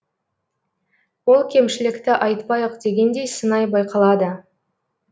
ол кемшілікті айтпайық дегендей сыңай байқалады